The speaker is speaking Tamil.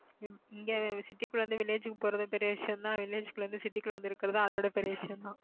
இங்க city குள்ள இருந்து village க்கு போறது பெரிய விஷயம்தான் village குள்ள இருந்து city க்குள்ள வந்திருக்கிறது அதைவிட பெரிய விஷயம்தான்